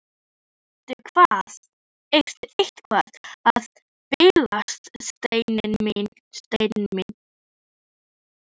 Fræðirit á veggnum gegnt okkur sagði hann.